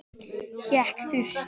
Hékk þurrt.